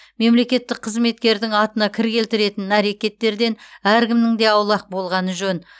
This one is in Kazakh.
мемлекеттік қызметкердің атына кір келтіретін әрекеттерден әркімнің де аулақ болғаны жөн